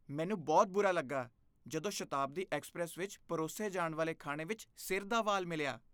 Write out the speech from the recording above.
ਮੈਨੂੰ ਬਹੁਤ ਬੁਰਾ ਲੱਗਾ ਜਦੋਂ ਮੈਨੂੰ ਸ਼ਤਾਬਦੀ ਐਕਸਪ੍ਰੈਸ ਵਿੱਚ ਪਰੋਸੇ ਜਾਣ ਵਾਲੇ ਖਾਣੇ ਵਿੱਚ ਸਿਰ ਦਾ ਵਾਲ ਮਿਲਿਆ।